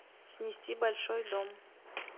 снести большой дом